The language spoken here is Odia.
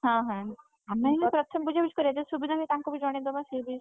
ହଁ ହଁ ଆମେ ହେଲା ପ୍ରଥମେ ବୁଝାବୁଝି କରିଆ ଯଦି ସୁବିଧା ହେଲା ତାଙ୍କୁ ବି ଜଣେଇଦବା ସିଏବି।